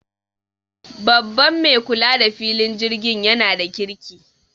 Babban mai kula da filin jirgin yana da kirki